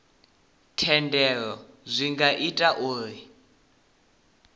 thendelo zwi nga ita uri